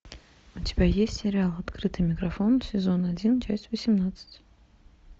у тебя есть сериал открытый микрофон сезон один часть восемнадцать